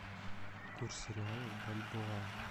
курс реала в бальбоа